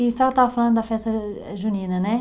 E a senhora estava falando da festa eh junina, né?